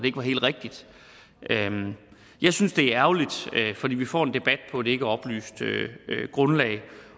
ikke var helt rigtigt jeg synes det er ærgerligt fordi vi får en debat på et ikkeoplyst grundlag